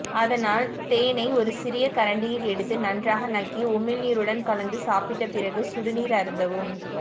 அதனால் தேனை ஒரு சிறிய கரண்டியில் எடுத்து நன்றாக நக்கி உமிழ்நீருடன் கலந்து சாப்பிட்டு பிறகு சுடுநீர் அருந்தவும்